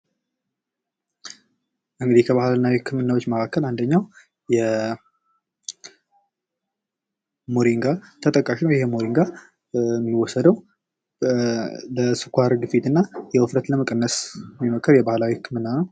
እንግዲ ከባህላዊ ህክምናዎች መካከል አንደኛው ሞሪጋ ተጠቃሽ ነው ይህ መድሃኒት የሚወሰደው ለስኳር ግፊትና ውፍረትን ለመቀነስ የሚመከር የባህላዊ ህክምና ነው።